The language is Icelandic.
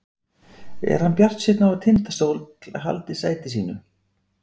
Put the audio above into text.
Er hann bjartsýnn á að Tindastóll haldi sæti sínu?